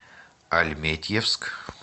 альметьевск